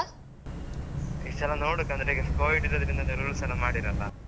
ಈ ಸಲ ನೋಡುಕ್ ಅಂದ್ರೆ ಈಗ Covid ಇದ್ದದ್ರಿಂದ rules ಎಲ್ಲ ಮಾಡಿರಲ್ಲ.